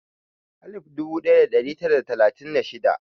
alif dubu ɗaya da tari tara da talatin da shida